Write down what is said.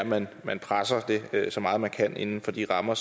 man man presser det så meget man kan inden for de rammer